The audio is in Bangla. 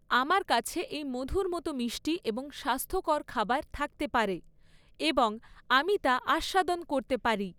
আমার কাছে এই মধুর মতো মিষ্টি এবং স্বাস্থ্যকর খাবার থাকতে পারে এবং আমি তা আস্বাদন করতে পারি!